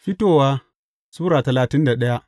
Fitowa Sura talatin da daya